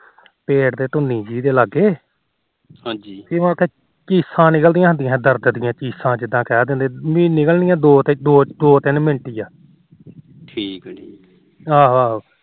ਪੇਟ ਤੇ ਧੁੰਨੀ ਜੀ ਲਾਗੇ ਹਾਜੀ ਚੀਸਾ ਜੀਆਂ ਨਿਕਲੀਆਂ ਜਿੰਦਾ ਕਹਿ ਦਿੰਦੇ ਚੀਸਾ ਪੀ ਨਿਕਲੀਆਂ ਦੋ ਤਿੰਨ ਮਿੰਟ ਹੀ ਆ ਠੀਕ ਆ ਜੀ ਆਹੋ ਆਹੋ